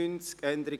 ] Abs.